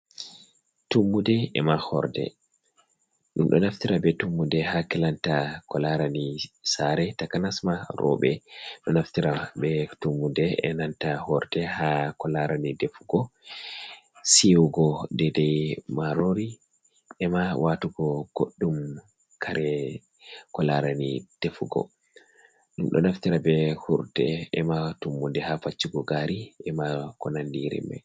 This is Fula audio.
Tummude e ma horde. Ɗum ɗo naftira be tummude haa kilanta ko laarani saare, takanas ma roɓe ɗo naftira be tummude e nanta horde haa ko laarani defugo, siiwugo daidai maarori e ma waatugo goɗɗum kare ko laarani defugo. Ɗum ɗo naftira be horde e ma tummude haa faccugo gaari, e ma ko nandi irin mai.